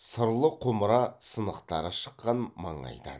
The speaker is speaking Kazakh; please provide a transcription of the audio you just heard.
сырлы құмыра сынықтары шыққан маңайдан